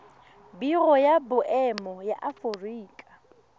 biro ya boemo ya aforika